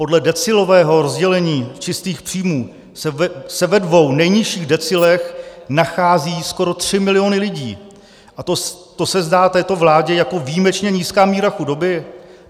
Podle decilového rozdělení čistých příjmů se ve dvou nejnižších decilech nacházejí skoro tři miliony lidí, a to se zdá této vládě jako výjimečně nízká míra chudoby?